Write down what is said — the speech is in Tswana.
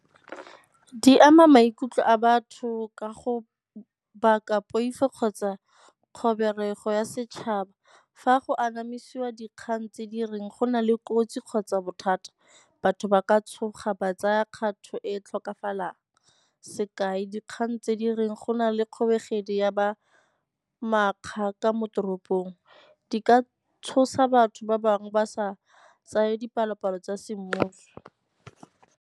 Di ama maikutlo a batho ka go baka poifo kgotsa kgobego ya setšhaba. Fa go anamisiwa dikgang tse di reng go na le kotsi kgotsa bothata, batho ba ka tshoga ba tsaya kgato e tlhokafalang sekai, dikgang tse di reng go na le ya ba makgakgaka mo toropong. Di ka tshosa batho ba bangwe ba sa tsaye dipalopalo tsa semmuso.